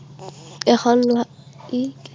এখন